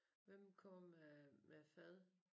Hvem kommer med med fad?